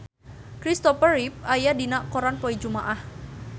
Kristopher Reeve aya dina koran poe Jumaah